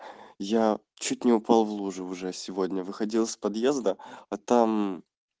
я чуть не упал в лужу уже сегодня выходил из подъезда а там